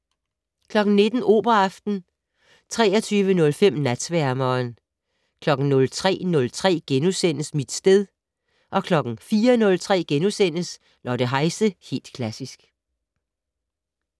19:00: Operaaften 23:05: Natsværmeren 03:03: Mit sted * 04:03: Lotte Heise - Helt Klassisk *